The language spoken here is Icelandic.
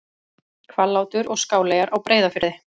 Hvallátur og Skáleyjar á Breiðafirði.